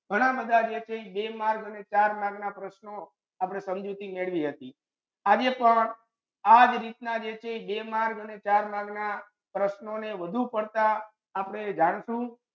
ઘના બધા જે છે ઇ બે mark અને ચાર mark ના પ્રશ્નો આપડે સમજુતી થી મેડવી હતિ આજે પણ આજ રીત ના જે છે એ ઇ બે mark અને ચાર mark ના પ્રશ્નો ને વધુ પડતું આપડે જાણશું